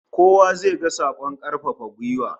Kowa zai ga sakon karfafa gwiwa